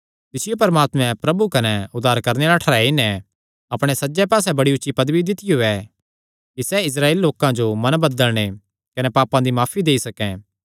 तिसियो परमात्मैं प्रभु कने उद्धार करणे आल़ा ठैहराई नैं अपणे सज्जे पास्से बड़ी ऊची पदवी दित्तियो ऐ कि सैह़ इस्राएली लोकां जो मन बदलणे कने पापां दी माफी देई सकैं